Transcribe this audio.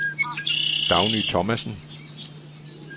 Dagny Thomasen